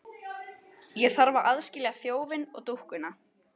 Ég þarf að aðskilja þjófinn og dúkkuna.